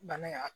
Bana in ya